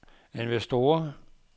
investorer